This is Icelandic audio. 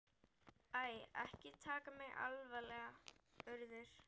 Æ, ekki taka mig alvarlega, Urður.